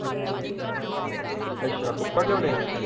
ਅੱਛਾ ਕੁੱਕੜ ਲਿਆਉਣੇ ਆ